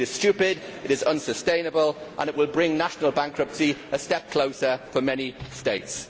It is stupid, it is unsustainable and it will bring national bankruptcy a step closer for many states.